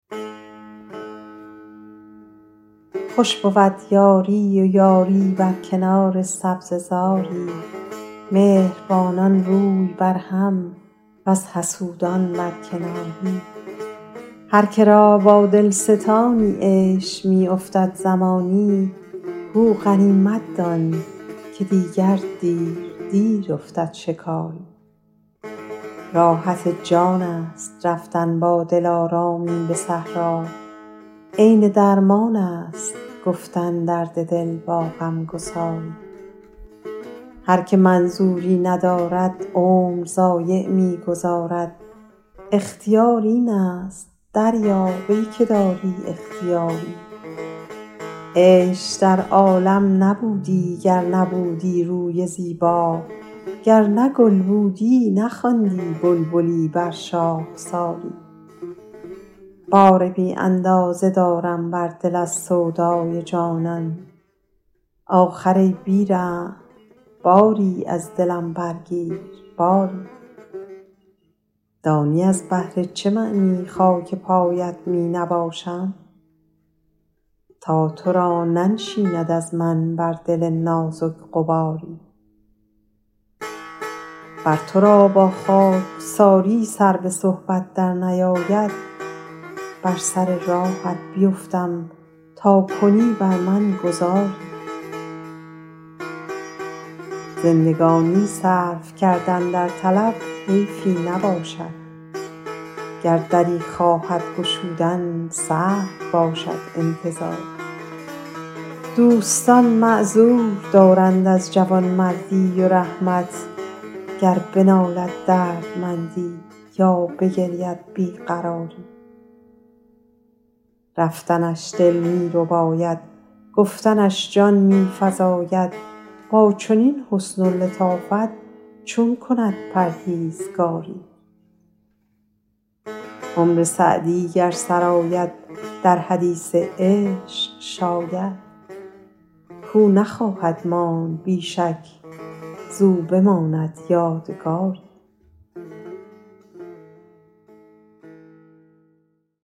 خوش بود یاری و یاری بر کنار سبزه زاری مهربانان روی بر هم وز حسودان بر کناری هر که را با دل ستانی عیش می افتد زمانی گو غنیمت دان که دیگر دیر دیر افتد شکاری راحت جان است رفتن با دلارامی به صحرا عین درمان است گفتن درد دل با غم گساری هر که منظوری ندارد عمر ضایع می گذارد اختیار این است دریاب ای که داری اختیاری عیش در عالم نبودی گر نبودی روی زیبا گر نه گل بودی نخواندی بلبلی بر شاخساری بار بی اندازه دارم بر دل از سودای جانان آخر ای بی رحم باری از دلی برگیر باری دانی از بهر چه معنی خاک پایت می نباشم تا تو را ننشیند از من بر دل نازک غباری ور تو را با خاکساری سر به صحبت درنیاید بر سر راهت بیفتم تا کنی بر من گذاری زندگانی صرف کردن در طلب حیفی نباشد گر دری خواهد گشودن سهل باشد انتظاری دوستان معذور دارند از جوانمردی و رحمت گر بنالد دردمندی یا بگرید بی قراری رفتنش دل می رباید گفتنش جان می فزاید با چنین حسن و لطافت چون کند پرهیزگاری عمر سعدی گر سر آید در حدیث عشق شاید کاو نخواهد ماند بی شک وین بماند یادگاری